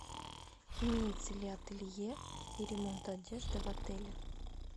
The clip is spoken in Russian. имеется ли ателье и ремонт одежды в отеле